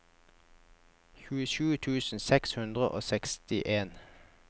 tjuesju tusen seks hundre og sekstien